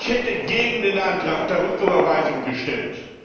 Ich hätte gegen den Antrag der Rücküberweisung gestimmt.